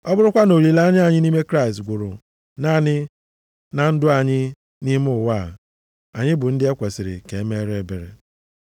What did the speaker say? Ọ bụrụkwa na olileanya anyị nʼime Kraịst gwụrụ naanị na ndụ anyị nʼime ụwa a, anyị bụ ndị e kwesiri ka e mere ebere.